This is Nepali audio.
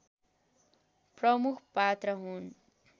प्रमुख पात्र हुन्